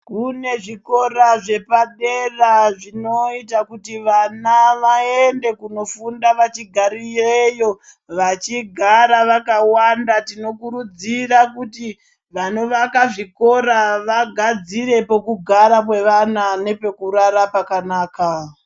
Kune zvikora zvepadera zvinoita kuti vana vaende kunofunda vachigarireyo vachigara vakawanda. Tinokurudzira kuti vanovaka zvikora vagadzire pokugara kwevana nepekurara pakanaka.